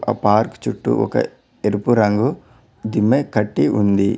అ park చుట్టూ ఒక ఎరుపు రంగు తినే కట్టి ఉంది.